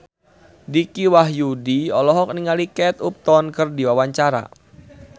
Dicky Wahyudi olohok ningali Kate Upton keur diwawancara